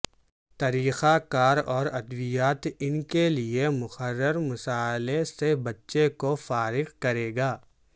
طریقہ کار اور ادویات ان کے لئے مقرر مسئلہ سے بچے کو فارغ کرے گا